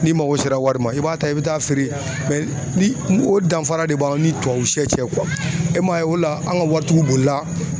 N'i mago sera wari ma i b'a ta i bɛ taa feere ni o danfara de b'an ni tubabusɛ sɛ cɛ e m'a ye o la an ka waritigiw deli la